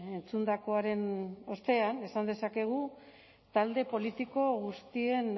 entzundakoaren ostean esan dezakegu talde politiko guztien